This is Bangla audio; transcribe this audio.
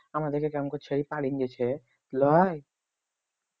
আমাদেকে কেমন করে ছেড়ে পালিয়ে গেছে লই